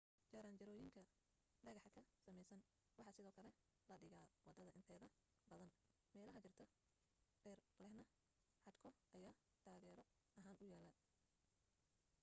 jaranjarooyinka dhagaxa ka samaysan waxa sidoo kale la dhigaa waddada inteeda badan meelaha jiirta dheer lehna xadhko ayaa taageero ahaan u yaal